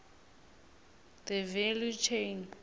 the value chain